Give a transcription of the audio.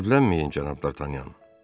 Təəccüblənməyin, cənab Dartanyan.